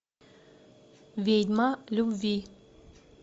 ведьма любви